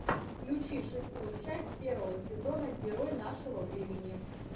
включи шестую часть первого сезона герой нашего времени